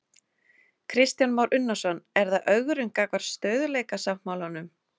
Kristján Már Unnarsson: Er það ögrun gagnvart stöðugleikasáttmálanum?